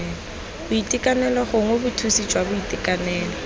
boitekanelo gongwe bothusi jwa boitekanelo